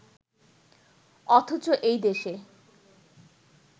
অথচ এই দেশে